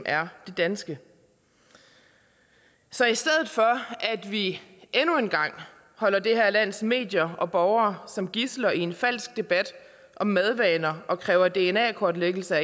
er det danske så i stedet for at vi endnu en gang holder det her lands medier og borgere som gidsler i en falsk debat om madvaner og kræver dna kortlæggelse af